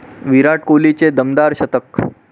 विराट कोहलीचे दमदार शतक